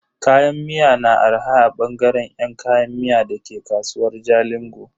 Kayan miya na arha a bangare yan kayan miya dake kasuwar Jalingo.